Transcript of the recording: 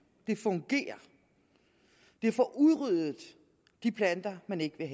det fungerer det får udryddet de planter man ikke vil